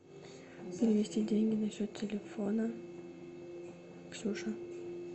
перевести деньги на счет телефона ксюша